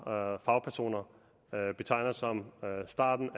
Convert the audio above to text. og fagpersoner betegner som startåret